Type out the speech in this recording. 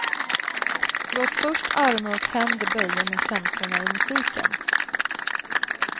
Låt först armar och händer bölja med känslorna i musiken.